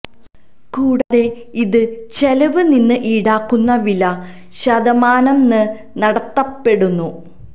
കൂടാതെ ഇത് ചെലവ് നിന്ന് ഈടാക്കുന്ന വില ശതമാനം ന് നടത്തപ്പെടുന്നു